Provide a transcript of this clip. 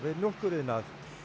mjólkuriðnað